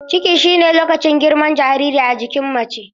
Ciki shine lokacin girman jariri a jikin mace.